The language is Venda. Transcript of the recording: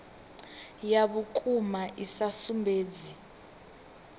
ya vhukuma i sa sumbedzi